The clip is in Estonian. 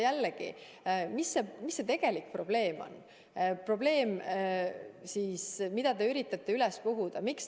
Jällegi, mis see tegelik probleem on, mida te üritate üles puhuda?